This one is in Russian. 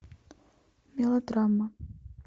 мелодрама